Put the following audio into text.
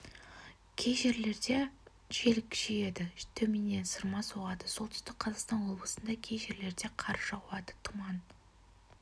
кей жерлерде жел күшейеді төменнен сырма соғады солтүстік қазақстан облысында кей жерлерде қар жауады тұман